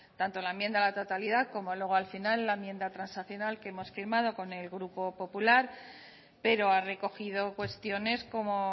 tanto la enmienda a la totalidad como luego al final la enmienda transaccional que hemos firmado con el grupo popular pero ha recogido cuestiones como